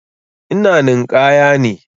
Ina ninƙaya ne.